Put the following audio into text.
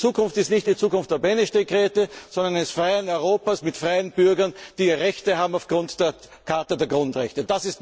Und die Zukunft ist nicht die Zukunft der Beneš Dekrete, sondern des freien Europas mit freien Bürgern, die Rechte haben aufgrund der Charta der Grundrechte.